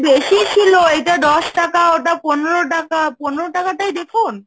বেশি ছিল, এইটা দশ টাকা, ওটা পনেরো টাকা, পনেরো টাকাটাই দেখুন?